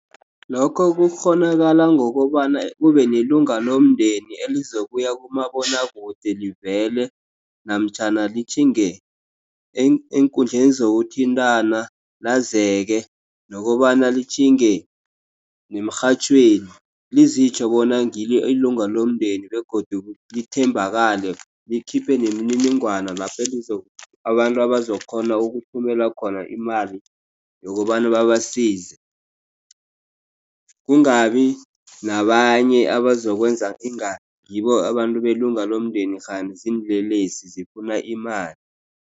Lokho kukghonakala ngokobana kube nelunga lomndeni elizokuya kumabonakude livele namtjhana litjhinge eenkundleni zokuthintana lazeke nokobana litjhinge nemrhatjhweni lizitjho bona ngilo ilunga lomndeni begodu lithembakale likhiphe nemininingwana lapho abantu abazokukghona ukuthumela khona imali yokobana babasize. Kungabi nabanye abazokwenza inga ngibo abantu belunga lomndeni kghani ziinlelesi zifuna imali.